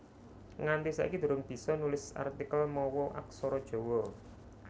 Nganti saiki durung bisa nulis artikel mawa Aksara Jawa